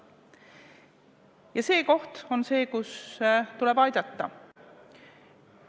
Ja see on koht, kus tuleb aidata.